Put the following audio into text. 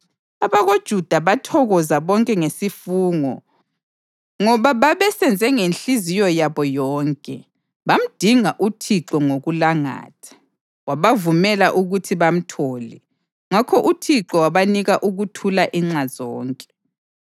AbakoJuda bathokoza bonke ngesifungo ngoba babesenze ngenhliziyo yabo yonke. Bamdinga uThixo ngokulangatha, wabavumela ukuthi bamthole. Ngakho uThixo wabanika ukuthula inxa zonke.